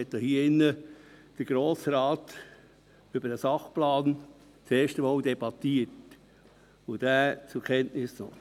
Damals waren natürlich noch lange nicht alle von Ihnen hier.